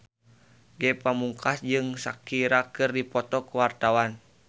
Ge Pamungkas jeung Shakira keur dipoto ku wartawan